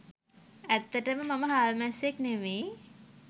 ඇත්තටම මම හාල්මැස්සෙක් නෙමෙයි